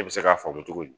Ne bɛ se k'a faamu cogo di